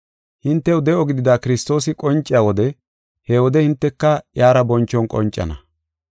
Hintew de7o gidida Kiristoosi qonciya wode he wode hinteka iyara bonchon qoncana.